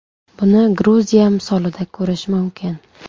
Buni Gruziya misolida ko‘rish mumkin.